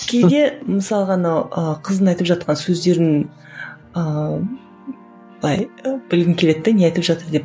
кейде мысалға анау ы қыздың айтып жатқан сөздерін ыыы былай білгім келеді де не айтып жатыр деп